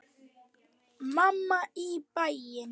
Mamma í bæinn.